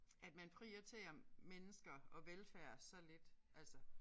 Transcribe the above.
At man prioriterer mennesker og velfærd så lidt altså